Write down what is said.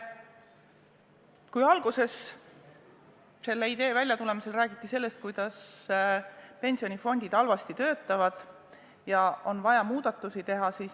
Kui algul selle ideega välja tuldi, siis räägiti sellest, kuidas pensionifondid töötavad halvasti ja et on vaja muudatusi teha.